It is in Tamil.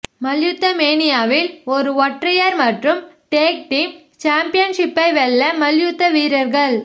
மல்யுத்தமேனியாவில் ஒரு ஒற்றையர் மற்றும் டேக் டீம் சாம்பியன்ஷிப்பை வெல்ல மல்யுத்த வீரர்கள்